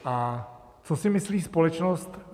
A co si myslí společnost?